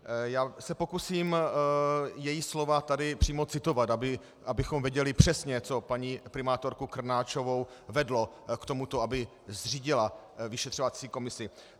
Já se pokusím její slova tady přímo citovat, abychom věděli přesně, co paní primátorku Krnáčovou vedlo k tomu, aby zřídila vyšetřovací komisi.